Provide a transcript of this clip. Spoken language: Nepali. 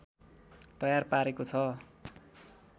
तयार पारेको छ